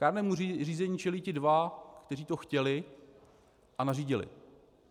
Kárnému řízení čelí ti dva, kteří to chtěli a nařídili.